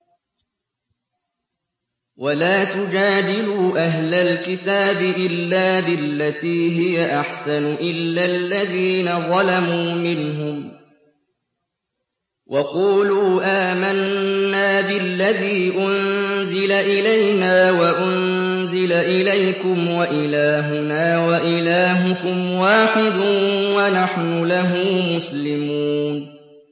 ۞ وَلَا تُجَادِلُوا أَهْلَ الْكِتَابِ إِلَّا بِالَّتِي هِيَ أَحْسَنُ إِلَّا الَّذِينَ ظَلَمُوا مِنْهُمْ ۖ وَقُولُوا آمَنَّا بِالَّذِي أُنزِلَ إِلَيْنَا وَأُنزِلَ إِلَيْكُمْ وَإِلَٰهُنَا وَإِلَٰهُكُمْ وَاحِدٌ وَنَحْنُ لَهُ مُسْلِمُونَ